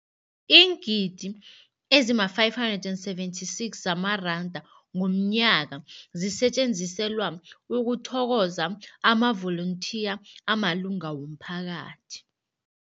Iingidi ezima-576 zamaranda ngomnyaka zisetjenziselwa ukuthokoza amavolontiya amalunga womphakathi.